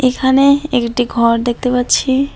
এখানে একটি ঘর দেখতে পাচ্ছি।